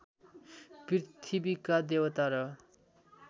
पृथ्वीका देवता र